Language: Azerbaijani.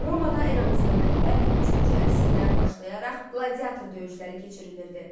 Romada eramızdan əvvəl üçüncü əsrdən başlayaraq qladiator döyüşləri keçirilirdi.